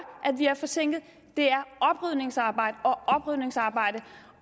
at vi er forsinkede er oprydningsarbejde